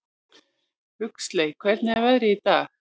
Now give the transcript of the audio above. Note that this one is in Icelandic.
Huxley, hvernig er veðrið í dag?